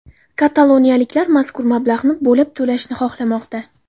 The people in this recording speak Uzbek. Kataloniyaliklar mazkur mablag‘ni bo‘lib to‘lashni xohlamoqda.